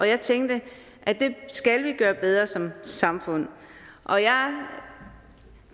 jeg tænkte at det skal vi gøre bedre som samfund og jeg